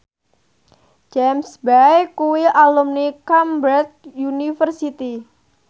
James Bay kuwi alumni Cambridge University